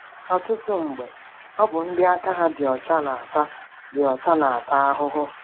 Ọtụtụ mgbe, ọ bụ ndị aka ha dị ọcha na-ata dị ọcha na-ata ahụhụ.